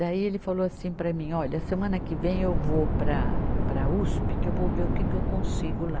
Daí ele falou assim para mim, olha, semana que vem eu vou para, para a Uspe, que eu vou ver o que que eu consigo lá.